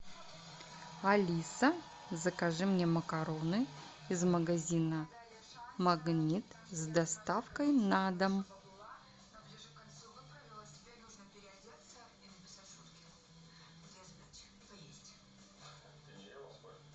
алиса закажи мне макароны из магазина магнит с доставкой на дом